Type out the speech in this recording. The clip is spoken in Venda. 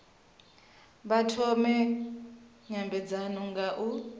vha thome nymbedzano nga u